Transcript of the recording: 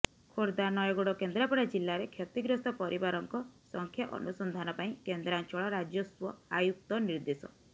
ଖୋର୍ଦ୍ଧା ନୟାଗଡ ଓ କେନ୍ଦ୍ରାପଡା ଜିଲ୍ଲାରେ କ୍ଷତିଗ୍ରସ୍ତ ପରିବାରଙ୍କ ସଂଖ୍ୟା ଅନୁସନ୍ଧାନ ପାଇଁ କେନ୍ଦ୍ରାଞ୍ଚଳ ରାଜସ୍ୱ ଆୟୁକ୍ତ ନିର୍ଦ୍ଦେଶ